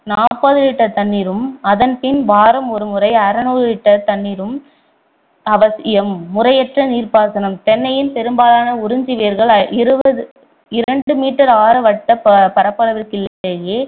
நாற்பது litre தண்ணீரும் அதன் பின் வாரம் ஒரு முறை அறுநூறு litre தண்ணீரும் அவசியம் முறையற்ற நீர்ப்பாசனம் தென்னையின் பெரும்பாலான உறிஞ்சி வேர்கள் இருபது~ இரண்டு meter ஆர வட்டப் பரப்பளவிற்குள்ளேயே